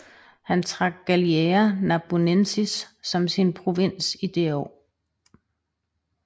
Han trak Gallia Narbonensis som sin provins det år